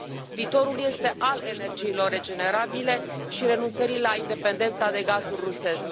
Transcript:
Viitorul este al energiilor regenerabile și al renunțării la independența de gazul rusesc.